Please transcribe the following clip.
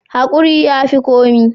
Hakuri ya fi komi.